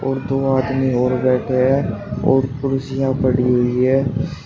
दो आदमी और बैठे हैं और कुर्सियां पड़ी हुई है।